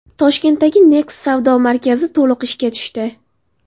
Toshkentdagi Next savdo markazi to‘liq ishga tushdi.